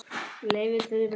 Leyfum þeim að upplifa það.